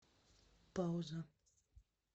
пауза